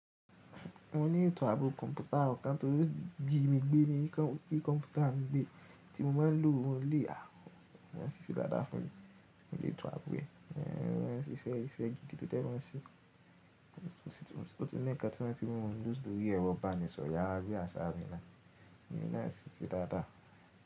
Mo ní ètò ààbò kọ̀ǹpútà ọ̀kan tí ó ti gbé mi gbé ní kí kọ̀ǹpútà mi gbé tí mo má n lo òun lé àhó. Wọ́n sì ṣe dáadáa fún mi. Mo lè tọ abo ee, wọ́n sì ṣe iṣẹ́ gidi tí tẹ wọ́n ṣe. Ó ti ń nikàn tí wọ́n ti mú Windows lo rí ẹ̀rọ ìbánisọ̀yà rí àṣà mi náà, mo ní náà ṣíṣe dáadáa.